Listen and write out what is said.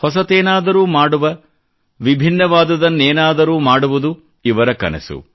ಹೊಸತೇನಾದರೂ ಮಾಡುವ ವಿಭಿನ್ನವಾದುದನ್ನೇನಾದರೂ ಮಾಡುವುದು ಇವರ ಕನಸು